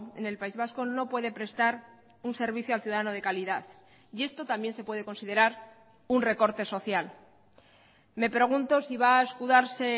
en el país vasco no puede prestar un servicio al ciudadano de calidad y esto también se puede considerar un recorte social me pregunto si va a escudarse